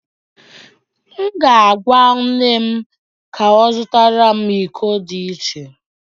M ga-agwa nne m ka ọ zụtara m iko dị iche